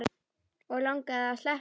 Og langaði að sleppa.